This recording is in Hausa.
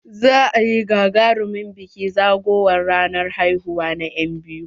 Za a yi gagarumin bikin zagowar ranar haihuwa na enbiyu.